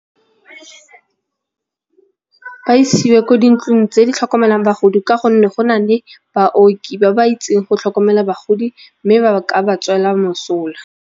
A isiwe kwa dintlong tse di tlhokomelang bagodi ka gonne go na le baoki ba ba itseng go tlhokomela bagodi mme ba ka ba tswela mosola.